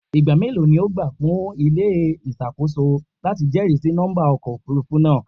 Igba melo ni o gba fun ile-iṣọ iṣakoso lati jẹrisi nọmba ọkọ ofurufu naa?